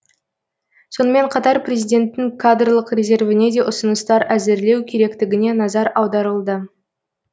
сонымен қатар президенттің кадрлық резервіне де ұсыныстар әзірлеу керектігіне назар аударылды